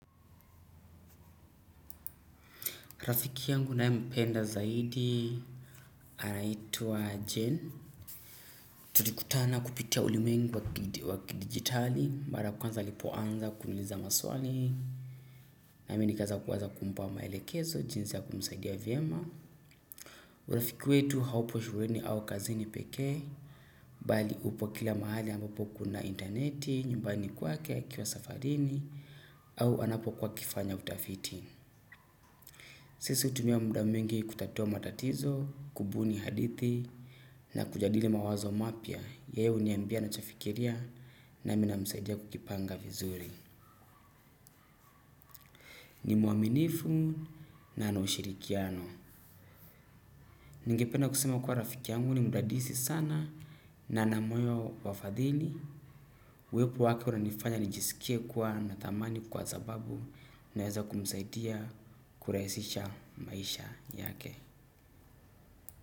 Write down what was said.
Rafiki yangu nae mpenda zaidi, arlnaitwa Jen. Tulikutana kupitia ulimwengi wa kidigitali, mara kwanza alipo anza kuuliza maswali, na meni kaza kuwaza kumpa maelekezo, jinzi ya kumusaidia vyema. Urafiki wetu haupo shuleni au kazini pekee, bali upo kila mahali ambapo kuna interneti, nyumbani kwake akiwa safarini, au anapo kuwa akifanya utafiti. Sisi hutumia muda mwingi kutatua matatizo kubuni hadithi na kujadili mawazo mapya yeye huniambia nachofikiria nami namsaidia kujipanga vizuri ni mwaminifu na ana ushirikiano ningependa kusema kuwa rafikiangu ni mdadisi sana na ana moyo wa fadhili uwepo wake unanifanya nijisikie kuwa natamani kwa zababu naeza kumsaidia kuraisisha maisha yake.